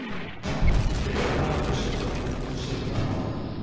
Bera misstu af myndum Sigurðar málara.